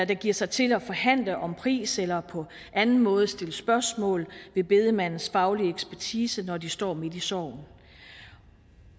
der giver sig til at forhandle om pris eller på anden måde sætter spørgsmålstegn ved bedemandens faglige ekspertise når de står midt sorgen og